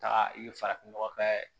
Taa i ye farafin nɔgɔ kɛ